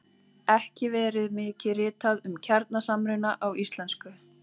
Ekki verið mikið ritað um kjarnasamruna á íslensku.